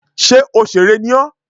Sé òsèré ni ọ́?